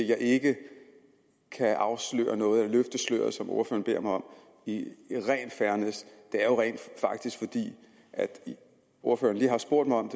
jeg ikke kan afsløre noget altså løfte sløret som ordføreren beder mig om i ren fairness er rent faktisk at ordføreren lige har spurgt mig om